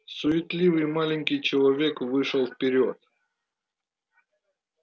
суетливый маленький человечек вышел вперёд